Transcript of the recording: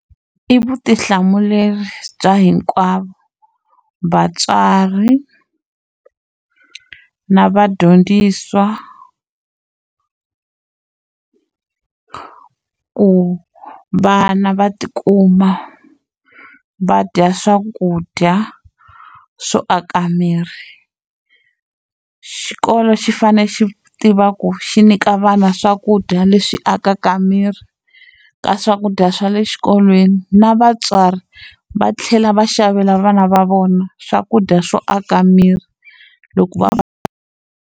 I vutihlamuleri bya hinkwavo, vatswari na vadyondzisi ku vana va ti kuma va dya swakudya swo aka miri. Xikolo xi fanele xi tiva ku xi nyika vana swakudya leswi akaka miri ka swakudya swa le xikolweni, na vatswari va tlhela va xavela vana va vona swakudya swo aka miri loko .